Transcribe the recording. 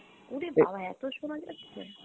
উরে বাবা এতো শোনা যাচ্ছে?